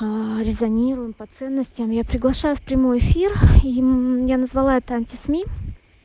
а резонируем по ценностям я приглашаю прямой эфир и я назвала этом анти сми